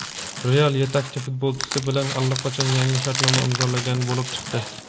"Real" yetakchi futbolchisi bilan allaqachon yangi shartnoma imzolagan bo‘lib chiqdi.